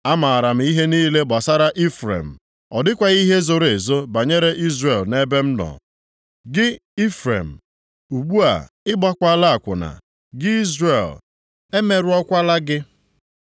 Amaara m ihe niile gbasara Ifrem, ọ dịkwaghị ihe zoro ezo banyere Izrel nʼebe m nọ. Gị Ifrem, ugbu a ị gbawala akwụna; gị Izrel, emerụọkwala gị.